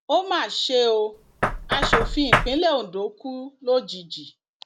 ó mà ṣe ó asòfin ìpínlẹ ondo kú lójijì